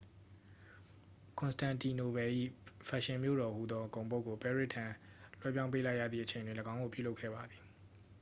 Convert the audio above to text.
ကွန်စတန်တီနိုပယ်၏ ဖက်ရှင်မြို့တော်ဟူသောဂုဏ်ပုဒ်ကို ပဲရစ်ထံ လွှဲပြောင်းပေးလိုက်ရသည့်အချိန်တွင် ၎င်းကိုပြုလုပ်ခဲ့ပါသည်